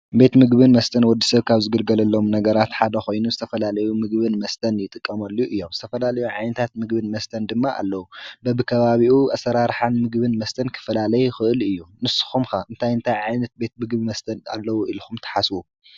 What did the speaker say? ቤት ምግብን መስተን ወዲ ሰብ ካብ ዝግልገለሎም ነገራት ሓደ ኮይኑ ብዝተፈላለዩ ምግብን መስተን ይጥቀመሉ እዩ ።ዝተፈላለዩ ዓይነታት ምግብን መስተ ድማ ኣለው። በቢ ከባቢኡ ኣሰራርሓን ምግብን መስተን ክፈላለይ ይክእል እዩ፡፡ ንስኩም ኸ እንታይ እንታይ ዓይነት ቤት ምግብን መስተን ኣለው ኢልኹም ትሓስቡ?